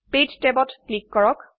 page ট্যাবত click কৰক